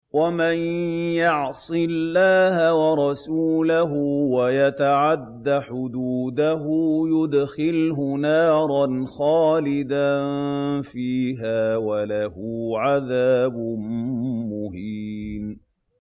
وَمَن يَعْصِ اللَّهَ وَرَسُولَهُ وَيَتَعَدَّ حُدُودَهُ يُدْخِلْهُ نَارًا خَالِدًا فِيهَا وَلَهُ عَذَابٌ مُّهِينٌ